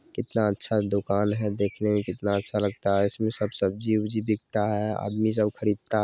कितना अच्छा दुकान है देखने में कितना अच्छा लगता है इसमें सब सब्जी औब्जी बिकता हैं आदमी सब खरीदता --